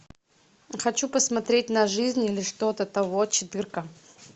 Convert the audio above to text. хочу посмотреть на жизнь или что то того четырка